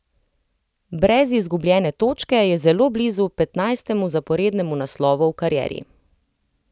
Brez izgubljene točke je zelo blizu petnajstemu zaporednemu naslovu v karieri.